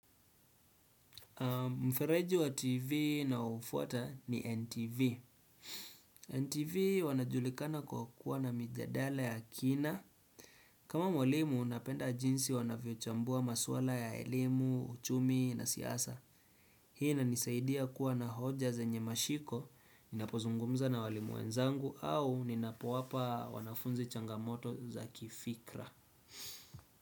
Mfereji wa tv naofuata ni NTV. NTV wanajulikana kwa kuwa na mijadala ya kina. Kama mwalimu napenda jinsi wanavyo chambua maswala ya elimu, uchumi na siasa. Hii inanisaidia kuwa na hoja zenye mashiko ninapozungumza na walimu wenzangu au ninapowapa wanafunzi changamoto za kifikra.